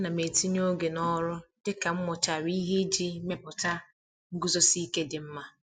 Ana m etinye oge n'ọrụ dị ka m mụchara ihe iji mepụta nguzosi ike dị mma.